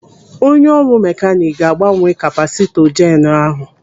Onye ọrụ mekanik ga-agbanwe kapasịtọ jeenu ahụ.